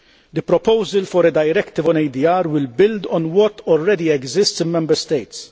The proposal for a directive on ADR will build on what already exists in Member States.